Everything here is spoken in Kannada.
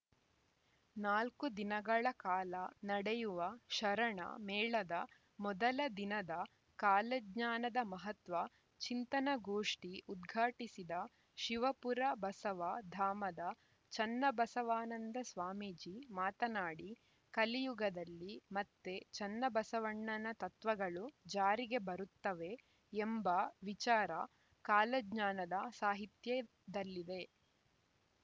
ನಾಲ್ಕು ದಿನಗಳ ಕಾಲ ನಡೆಯುವ ಶರಣ ಮೇಳದ ಮೊದಲ ದಿನದ ಕಾಲಜ್ಞಾನದ ಮಹತ್ವ ಚಿಂತನಗೋಷ್ಠಿ ಉದ್ಘಾಟಿಸಿದ ಶಿವಪುರ ಬಸವ ಧಾಮದ ಚನ್ನಬಸವಾನಂದ ಸ್ವಾಮೀಜಿ ಮಾತನಾಡಿ ಕಲಿಯುಗದಲ್ಲಿ ಮತ್ತೆ ಚನ್ನಬಸವಣ್ಣನ ತತ್ವಗಳು ಜಾರಿಗೆ ಬರುತ್ತವೆ ಎಂಬ ವಿಚಾರ ಕಾಲಜ್ಞಾನದ ಸಾಹಿತ್ಯದಲ್ಲಿದೆ